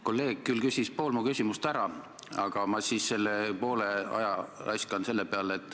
Kolleeg küll küsis pool mu küsimust ära, aga ma poole oma ajast ikka kulutan ära.